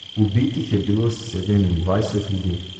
Ubitih je bilo sedemindvajset ljudi.